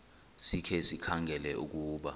sikhe sikhangele ukuba